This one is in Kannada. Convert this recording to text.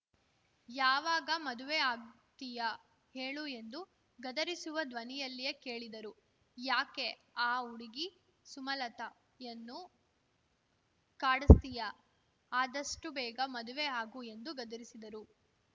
ಯಾವಾಗ ಮದುವೆ ಆಗ್ತೀಯಾ ಹೇಳು ಎಂದು ಗದರಿಸುವ ಧ್ವನಿಯಲ್ಲಿಯೇ ಕೇಳಿದರು ಯಾಕೆ ಆ ಹುಡುಗಿ ಸುಮಾಲತಾಯನ್ನು ಕಾಡ್ ಸ್ತೀಯಾ ಆದಷ್ಟುಬೇಗ ಮದುವೆ ಆಗು ಎಂದು ಗದರಿಸಿದರು